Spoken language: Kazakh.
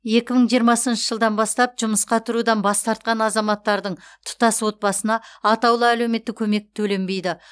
екі мың жиырмасыншы жылдан бастап жұмысқа тұрудан бас тартқан азаматтардың тұтас отбасына атаулы әлеуметтік көмек төленбейді